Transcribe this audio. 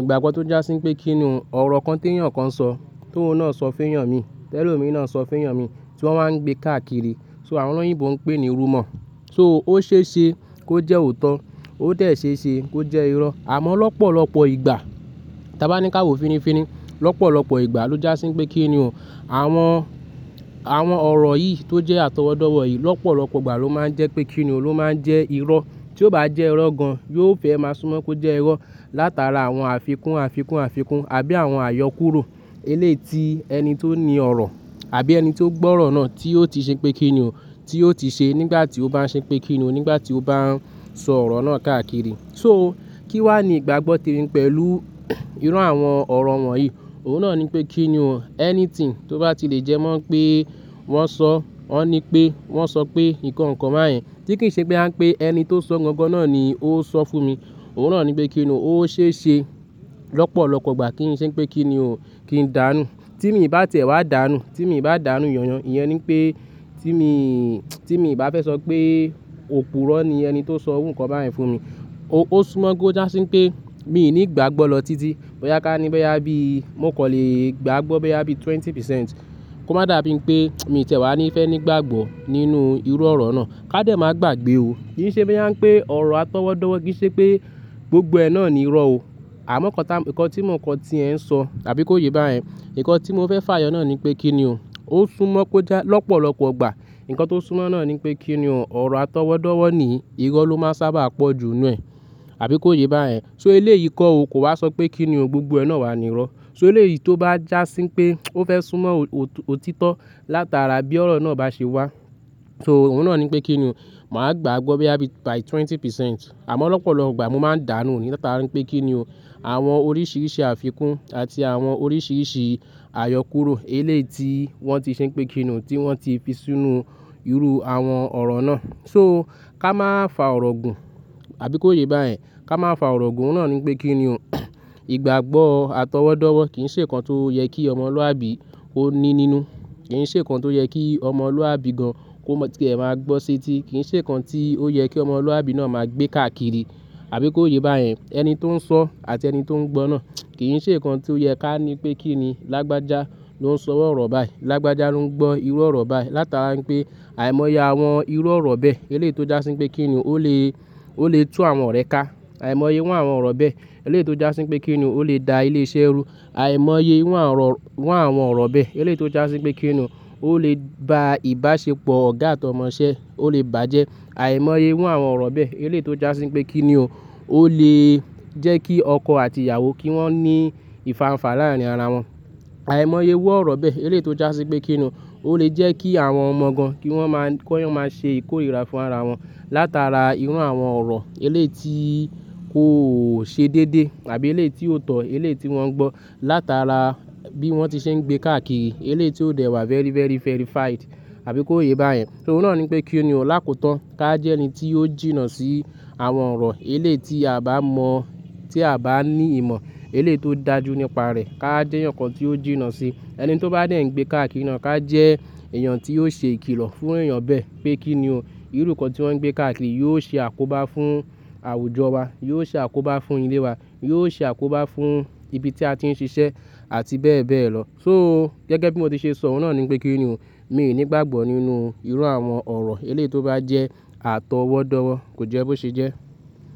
Ìgbàgbọ́ tó já sí pé kí ni o ọ̀rọ̀ kan téyàn kan sọ, tó òun náà sọ fẹ́yàn mi, ti elomii náà sọ fẹ́yàn mi, tí wọ́n wáa ń gbé káàkiri, so àwọn oloyìnbo ń pè ní rumor. So ó ṣe é ṣe kó jẹ́ òótọ́, ó dẹ̀ ṣe é ṣe kó jẹ́ irọ́. Àmọ́ lọ́pọ̀lọ́pọ̀ ìgbà, tí a bá ní ká wo finifini, lọ́pọ̀lọ́pọ̀ ìgbà ló já sí pé kí ni o, àwọn, àwọn ọ̀rọ̀ yìí tó jẹ́ atọwọ́dọ́wọ́ yìí lọ́pọ̀lọ́pọ̀ ìgbà ló máa ń jẹ́ pé kí ni ó ló máa ń jẹ́ irọ́. Tí ó bá jẹ́ irọ́ gan, yóò fẹ́ máa súnmọ́ kó jẹ́ irọ́ látara àwọn àfikún, àfikún, àfikún àbí àwọn àyọkúrò eléyii ti ẹni tó ní ọ̀rọ̀ àbí ẹni tó gbọ́ ọ̀rọ̀ náà tí ó ti ṣe pé kí ni o, tí ó ti ṣe nígbà tí ó báa n ṣe pé kí ni o, nígbà tí ó bá ń sọ ọ̀rọ̀ náà káàkiri. So kí wà ní ìgbàgbọ́ tèmi pẹ̀lú irú àwọn ọ̀rọ̀ wọ̀nyí. Òhun náà ní pé kí ni o, anything tó bá ti lè jẹ mọ́ pé wọ́n sọ, wọ́n ní pé wọ́n sọ pé nǹkan kan báyen, tí kì í ṣe boya ń pé ẹni tó sọ gan gan náà ni ó sọ fún mi. Òhun náà ní pé kí ni o, ó ṣe é ṣe lọ́pọ̀lọ́pọ̀ ìgbà kí n ṣe pé kí ni o, kí n dánù. Tí mi bá tiẹ̀ wá dánù, tí mi bá dánù yanyan, ìyẹn ní pé tí mi, tí mi bá fẹ́ sọ pé òpùrọ́ ni ẹni tó sọ iru nnkan báyìí fún mi. Ó, ó súnmọ́ kó já sí pé mi ò ní gbàgbọ́ lọ títí. Boyà ká ní bo yá bí mó kò n le gbàgbọ́ boya bí twenty percent. Kò má dàbí pé mi ti ẹ̀ wá ní fẹ́ nígbàgbọ́ nínú irú ọ̀rọ̀ náà. Ká dẹ̀ máa gbàgbé o. Kì í ṣe boya n pé ọ̀rọ̀ atọwọ́dọ́wọ́ kì í ṣe pé gbogbo ẹ náà ni irọ́ o. Àmọ́ nnkan ta, nǹkan tí mò kan tí ẹ ń sọ àbí kó yé bá yẹ̀n. Nǹkan tí mo fẹ́ fà yọ náà ní pé kí ni o. Ó súnmọ́ kó já lọ́pọ̀lọ́pọ̀ ìgbà. Nǹkan tó súnmọ́ náà ní pé kí ni o, ọ̀rọ̀ atọwọ́dọ́wọ́ ni irọ́ ló máa n sábà pọ̀ ju ninú ẹ̀, àbí kó yé bá yẹ̀n. So eléyii kọ́ o kò wa sọ pé kí ni o, gbogbo ẹ náà wà ní irọ́. So eléyìí tó bá já sí pé ó fẹ́ súnmọ́ òtítọ́ látara bí ọ̀rọ̀ náà bá ṣe wá. So òun náà ní pé kí ni o, màá gbàgbọ́ bẹ́yá bí by twenty percent. Àmọ́ lọ́pọ̀lọ́pọ̀ ìgbà mo máa ń dánù ní látara pé kí ni o. Àwọn oríṣiríṣi àfikún àti àwọn oríṣiríṣi àyọkúrò eléyii tí wọ́n ti ṣe pé kí ni o, tí wọ́n ti fi sínú irú àwọn ọ̀rọ̀ náà. So ká má fa ọ̀rọ̀ gùn, àbí kó yé bá yẹ̀n. Ka má fa ọ̀rọ̀ gùn ohun náà ní pé kí ni o. Ìgbàgbọ́ atọwọ́dọ́wọ́ kì í ṣe nǹkan tó yẹ kí ọmọlúwàbí ó ní nínú. Kì í ṣe nǹkan tó yẹ kí ọmọlúwàbí gan kó má tí ẹ máa gbọ́ sí ti. Kì í ṣe nǹkan tí ó yẹ kí ọmọlúwàbí náà máa gbé káàkiri, àbí kó yé bá yẹ̀n. Ẹni tó ń sọ àti ẹni tó ń gbọ́ náà kì í ṣe nǹkan tí ó yẹ ká ní pé kí ni, lágbájá ló ń sọ iru ọ̀rọ̀ báyìí, lágbájá ló ń gbọ́ irú ọ̀rọ̀ báyìí látara pé àìmọye àwọn irú ọ̀rọ̀ bẹ́ẹ̀ eléyii tó já sí pé kí ni ó lè, ó lè tú àwọn ọ̀rẹ́ ká. Àìmọye iru àwọn ọ̀rọ̀ bẹ́ẹ̀ eléyii tó já sí pé kí ni o, ó lè da ilé iṣẹ́ rú. Àìmọye iru àwọn ọ̀rọ̀ bẹ́ẹ̀ eléyii tó já sí pé kí ni o, ó lè ba ìbáṣepọ̀ ọ̀gá àti ọmọṣẹ́ ó lè bàjẹ́. Àìmọye iru àwọn ọ̀rọ̀ bẹ́ẹ̀ eléyii tó já sí pé kí ni o, ó lè jẹ́ kí ọkọ àti ìyàwó kí wọ́n ní ìfànfa lá rin ara wọn. Àìmọye iru ọ̀rọ̀ bẹ́ẹ̀ elé tó já sí pé kí ni o, ó lè jẹ́ kí àwọn ọmọ gan kí wọ́n máa kó n máa ṣe ìkórìíra fún ara wọn látara irú àwọn ọ̀rọ̀ eléyii tí kò ṣe dédé àbí eléyii tí ó tọ́, elé tí wọ́n gbọ́ látara bí wọ́n ti ṣe ń gbé káàkiri, eléyii tí ó dẹ̀ wà very, very, verified, àbí kó yé bá yẹ̀n. So òhun náà ní pé kí ni o, lákòótọ́ ká jẹ́ ẹni tí yóò jìnnà sí àwọn ọ̀rọ̀ eléyii tí a bá mọ̀, tí a bá ní ìmọ̀, eléyii tó dàjú nípa rẹ̀ ká jẹ́ eeyan kan tí ó jìnnà sí. Ẹni tí ó bá dẹ̀ ń gbé káàkiri náà ká jẹ́ èèyàn tí yóò ṣe ìkìlò fún èèyàn bẹ́ẹ̀ pé kí ni o, irú ǹnkan tí wọ́n ń gbé káàkiri yóò ṣe àkóbá fún àwùjọ wa, yóò ṣe àkóbá fún ilé wa, yóò ṣe àkóbá fún ibi tí a ti ń ṣiṣẹ́ àti bẹ́ẹ̀ bẹ́ẹ̀ lọ. So gẹ́gẹ́ bí mo ti ṣe sọ òhun náà ní pé kí ni o, mi ò ní ìgbàgbọ́ nínú irú àwọn ọ̀rọ̀ eléyii tó bá jẹ́ atọwọ́dọ́wọ́ kò jẹ́ bó ṣe jẹ́.